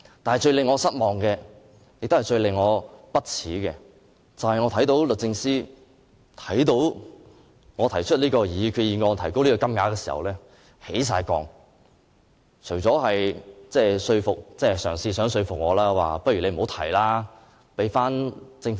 但是，最令我失望、最令我不耻的是，律政司對於我提出這項擬議決議案極有敵意，更嘗試說服我不要提出這項決議案，而讓政府提出。